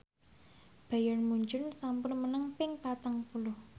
Bayern Munchen sampun menang ping patang puluh